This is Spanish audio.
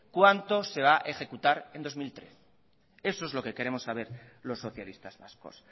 cuánto se va a ejecutar en el dos mil trece eso es lo que queremos saber los socialistas vascos